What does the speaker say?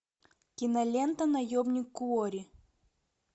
кинолента наемник куорри